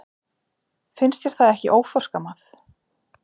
Finnst þér það ekki óforskammað?